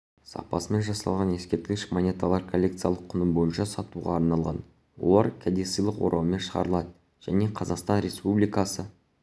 сапасымен жасалған ескерткіш монеталар коллекциялық құны бойынша сатуға арналған олар кәдесыйлық ораумен шығарылады және қазақстан республикасы